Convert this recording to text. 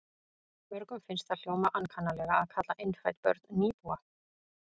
Mörgum finnst það hljóma ankannalega að kalla innfædd börn nýbúa.